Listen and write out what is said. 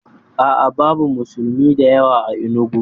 A'a, babu musulmi da yawa a Enugu.